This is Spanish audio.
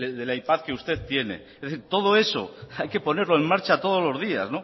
del ipad que usted tiene es decir todo eso hay que ponerlo en marcha todos los días